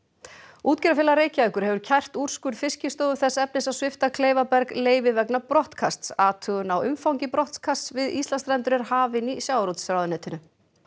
útgerðarfélag Reykjavíkur hefur kært úrskurð Fiskistofu þess efnis að svipta Kleifaberg leyfi vegna brottkasts athugun á umfangi brottkasts við Íslandsstrendur er hafin í sjávarútvegsráðuneytinu